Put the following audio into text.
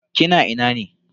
Kina ina ne?